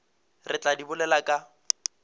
re tla di bolela ka